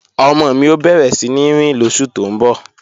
Ọmọ mi ó bẹ̀rẹ̀ síní rìn lóṣù tó ń bọ̀